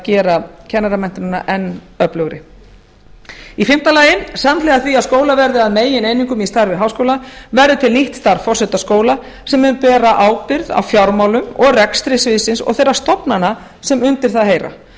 gera kennaramenntunina enn öflugri fimmta samhliða því að skólar verði að megineiningum í starfi háskóla verður til nýtt starf forseta skóla sem mun bera ábyrgð á fjármálum og rekstri sviðsins og þeirra stofnana sem undir það heyra